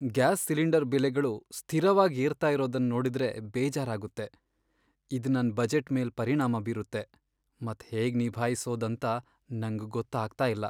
Gas cylinder ಬೆಲೆಗಳು ಸ್ಥಿರವಾಗ್ ಏರ್ತಾ ಇರೋದನ್ ನೋಡುದ್ರೆ ಬೇಜಾರಾಗುತ್ತೆ. ಇದ್ ನನ್ ಬಜೆಟ್ ಮೇಲ್ ಪರಿಣಾಮ ಬೀರುತ್ತೆ, ಮತ್ ಹೇಗ್ ನಿಭಾಯಿಸೋದ್ ಅಂತ ನಂಗ್ ಗೊತ್ತಾಗ್ತಾ ಇಲ್ಲ.